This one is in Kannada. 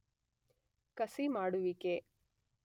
ಕಸಿ ಮಾಡುವಿಕೆ